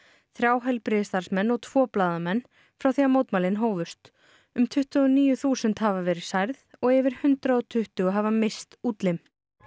þrjú heilbrigðisstarfsmenn og tvo blaðamenn frá því að mótmælin hófust um tuttugu og níu þúsund hafa verið særð og yfir hundrað og tuttugu hafa misst útlim